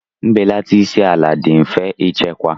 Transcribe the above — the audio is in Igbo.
Mbelata isi ala dị mfe ịchekwa.